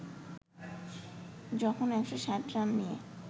যখন ১৬০ রান নিয়ে